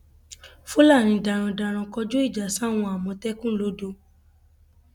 fúlàní darandaran kọjú ìjà sáwọn àmọtẹkùn lodò